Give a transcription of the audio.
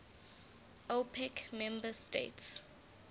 opec member states